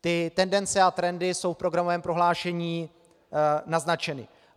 Ty tendence a trendy jsou v programovém prohlášení naznačeny.